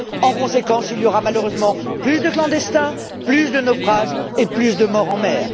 En conséquence, il y aura malheureusement plus de clandestins, plus de naufrages et plus de morts en mer.